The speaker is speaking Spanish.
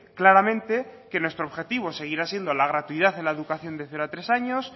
claramente que nuestro objetivo seguirá siendo la gratuidad en la educación de cero a tres años